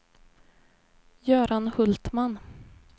Göran Hultman